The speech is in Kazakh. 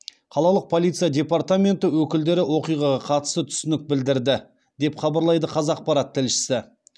қалалық полиция департаменті өкілдері оқиғаға қатысты түсінік білдірді деп хабарлайды қазақпарат тілшісі